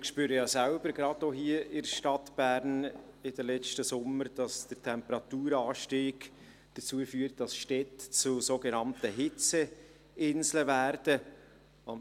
Wir spüren ja selber auch hier in der Stadt Bern in den letzten Sommern, dass der Temperaturanstieg dazu führt, dass Städte zu sogenannten Hitzeinseln werden.